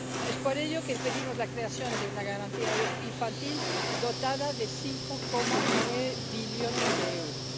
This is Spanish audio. Es por ello que pedimos la creación de una garantía infantil dotada de 5,9 billones de euros.